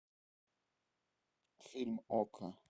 фильм окко